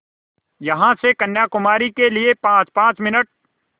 यहाँ से कन्याकुमारी के लिए पाँचपाँच मिनट